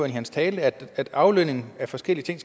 i sin tale at at aflønning af forskellige ting